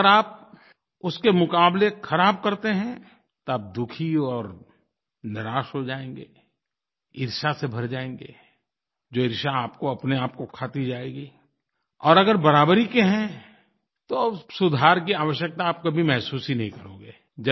अगर आप उसके मुक़ाबले ख़राब करते हैं तब दुखी और निराश हो जाएँगे ईर्ष्या से भर जाएँगे जो ईर्ष्या आपको अपनेआप को खाती जाएगी और अगर बराबरी के हैं तो सुधार की आवश्यकता आप कभी महसूस ही नहीं करोगे